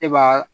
E b'a